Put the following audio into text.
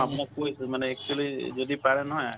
আপুনাক কই মানে actually যদি পাৰে নহয়